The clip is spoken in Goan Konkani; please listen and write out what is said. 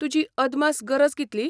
तुजी अदमास गरज कितली?